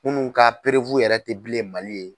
Minnu ka yɛrɛ tɛ bilen Mali